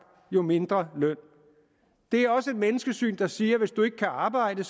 jo mindre løn det er også et menneskesyn der siger at hvis du ikke kan arbejde